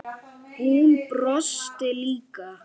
Hún brosti líka.